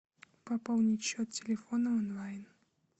пополнить счет телефона онлайн